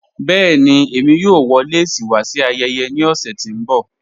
Bẹ̀ẹ̀ni, èmi yóò wọ̀ lẹ́sí wa sí ayẹyẹ ní ọṣẹ̀ tí n bọ̀.